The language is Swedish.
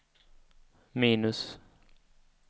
minus